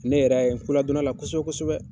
Ne yɛrɛ ya ye n'koladɔnna la kosɛbɛ kosɛbɛ.